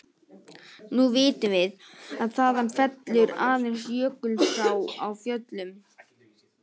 Nú vitum við, að þaðan fellur aðeins Jökulsá á Fjöllum.